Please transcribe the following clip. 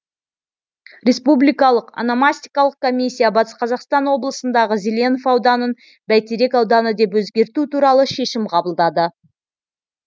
республикалық ономастикалық комиссия батыс қазақстан облысындағы зеленов ауданын бәйтерек ауданы деп өзгерту туралы шешім қабылдады